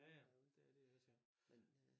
Ja ja det er de også ja